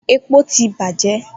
Epo ti bajẹ.